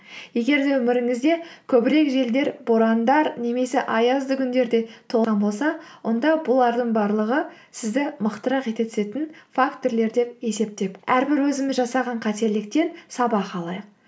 егер де өміріңізде көбірек желдер борандар немесе аязды күндерде тұман болса онда бұлардың барлығы сізді мықтырақ ете түсетін фактірлер деп есептеп әрбір өзіміз жасаған қателіктен сабақ алайық